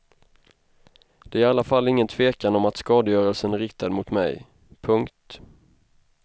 Det är i alla fall ingen tvekan om att skadegörelsen är riktad mot mig. punkt